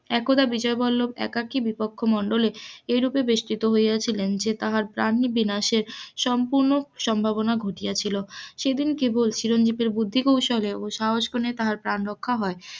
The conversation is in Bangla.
একদা বিজয় বল্লভ একাকি কক্ষ মন্ডলে রুপে বিসৃত হইয়াছিলেন যে তাহার প্রাণ বিনাশের সম্পুর্ণ সম্ভবনা ঘটিয়াছিল সেদিন চিরঞ্জীবের বুদ্ধি কৌশলেও সাহসিকতার কারণে তার প্রাণ রক্ষা হয়.